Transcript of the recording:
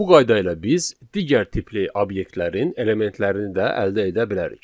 Bu qayda ilə biz digər tipli obyektlərin elementlərini də əldə edə bilərik.